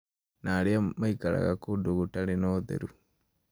na arĩa maikaraga kũndũ gũtarĩ na ũtheru